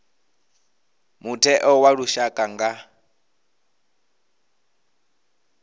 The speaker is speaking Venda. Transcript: mutheo wa lushaka u nga